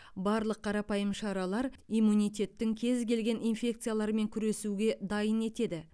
барлық қарапайым шаралар иммунитеттің кез келген инфекциялармен күресуге дайын етеді